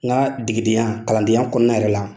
N ka degedenya kalandenya kɔnɔna yɛrɛ la